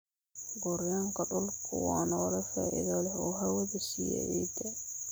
Gooryaanka dhulku waa noole faa'iido leh oo hawada siiya ciidda.